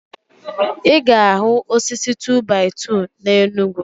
I ga ahu osisi 2-by-2 na Enugu